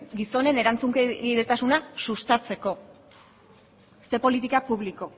gizonen erantzunkidetasuna sustatzeko zer politika publiko